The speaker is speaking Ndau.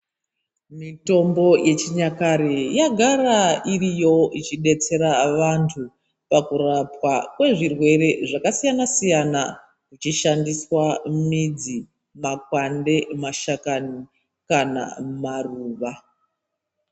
Mitombo yechinyakare yagara iriyo ichidetsera vantu pakurapwa kwezvirwere zvasiyana siyana zvichishandiswa midzi, makwande nemashakani kana maruva.